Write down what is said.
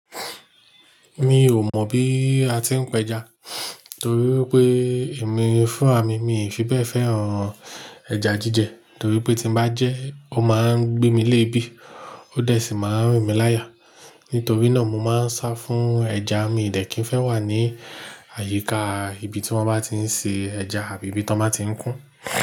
Mi ò mọ̀ bí a ti ń pẹja torí pé èmi fún àmì, mi ò fi bẹ́ẹ̀ fẹ́ràn ẹja jíjẹ torí pé tí mo bá jẹ́, ó máa ń gbé mi léèébì, ó dẹ̀ sì máa ń rìn mí láya. Nítorí náà mo máa ń sá fún ẹja, mi ò dẹ̀ kí n fẹ́ wà ní àyíká ibi tí wọ́n bá tí ń ṣe ẹja àbí ibi tí wọ́n má tí ń kún.